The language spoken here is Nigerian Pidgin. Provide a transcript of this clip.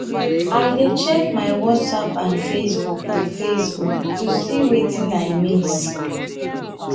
i dey check my whatsapp and facebook to facebook to see wetin i miss.